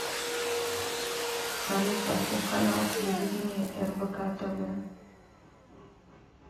салют поставь канал телевидения рбк тв